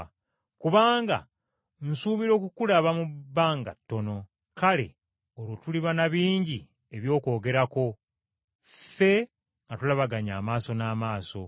kubanga nsuubira okukulaba mu bbanga ttono. Kale olwo tuliba na bingi eby’okwogerako ffembi nga tulabaganye amaaso n’amaaso.